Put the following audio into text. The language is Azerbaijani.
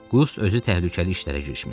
Qust özü təhlükəli işlərə girişmişdi.